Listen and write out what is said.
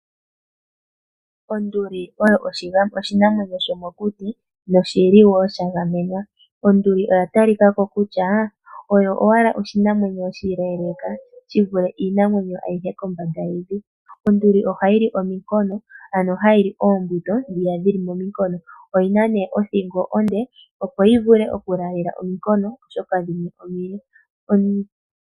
Onduli oyo oshinamwenyo shomokuti nosha gamenwa. Oya talika ko kutya oyo owala oshinamwenyo oshileeleka shi vule iinamwenyo ayihe kombanda yevi. Onduli ohayi li ominkono, ano hayi li oongundo ndhoka dhi li mominkono. Oyi na nduno othingo onde, opo yi vule okulaalela ominkono, oshoka dhimwe omile.